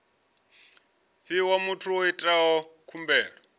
fhiwa muthu o itaho khumbelo